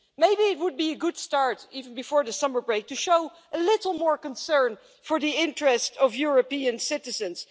Maybe it would be a good start, even before the summer break, to show a little more concern for the interests of European citizens.